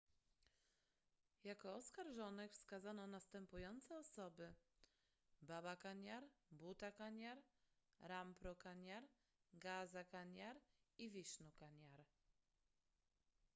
jako oskarżonych wskazano następujące osoby baba kanjar bhutha kanjar rampro kanjar gaza kanjar i vishnu kanjar